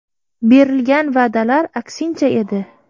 Berilgan va’dalar aksincha edi.